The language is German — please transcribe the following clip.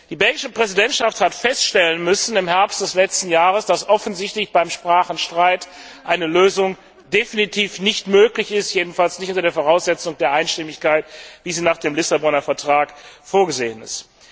Die belgische Präsidentschaft hat im Herbst letzten Jahres feststellen müssen, dass offensichtlich beim Sprachenstreit eine Lösung definitiv nicht möglich ist, jedenfalls nicht unter der Voraussetzung der Einstimmigkeit, wie sie nach dem Lissabonner Vertrag vorgesehen ist.